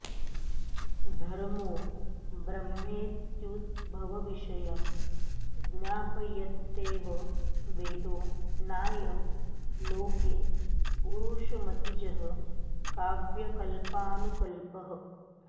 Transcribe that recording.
धर्मो ब्रह्मेत्युभयविषयं ज्ञापयत्येव वेदो नायं लोके पुरुषमतिजः काव्यकल्पानुकल्पः